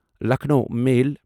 Lucknow میل